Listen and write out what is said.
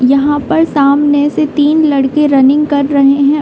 यहाँ पर सामने से तीन लड़के रनिंग कर रहे हैं।